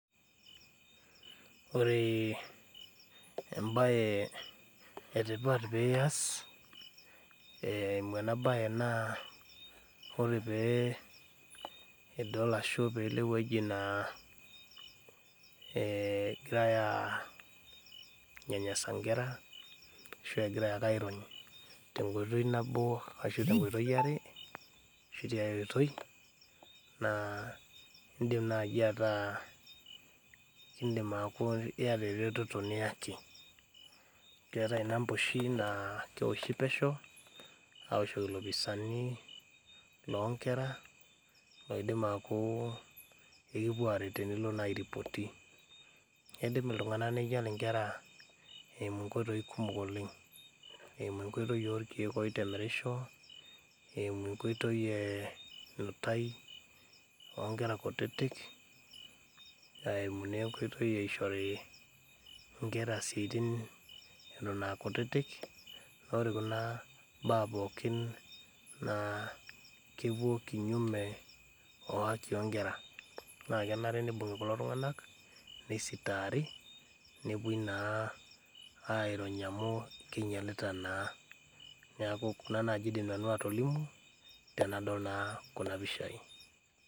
Ore embaye etipata piyas eh eimu ena baye naa ore pee idol ashu piilo ewueji naa eh egirae uh anyanyasa inkera ashu egirae ake airony tenkoitoi nabo ashu tenkoitoi are ashu tiae oitoi naa indim naaji ataa kindim aaku iyata ereteto niyaki keetae inamba oshi naa kewoshi pesho awoshoki ilopisani lonkera loidim aaku ekipuo aret tenilo naa airipoti neidim iltung'anak neinyial inkera eimu inkoitoi kumok oleng eimu enkoitoi orkeek oitemerisho eimu enkoitoi eh enutai onkera kutitik eimu nenkoitoi eishori inkera isiaitin eton akutitik nore kuna baa pookin naa kepuo kinyume o haki onkera naa kenare nibung'i kulo tung'anak neisitaari nepuoi naa airony amu keinyialita naa neaku kuna naaji nanu atolimu tenadol naa kuna pishai.